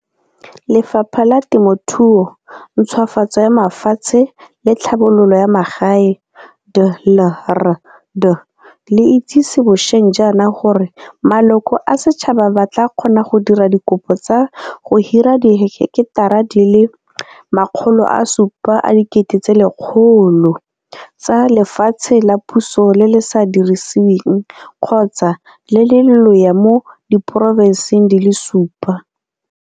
Lefapha la Temothuo, Ntšhwafatso ya Mafatshe le Tlhabololo ya Magae DLRD le itsisitse bosheng jaana gore maloko a setšhaba ba tla kgona go dira dikopo tsa go hira diheketara di le 700 000 tsa lefatshe la puso le le sa dirisiweng kgotsa le le lolea mo diporofenseng di le supa.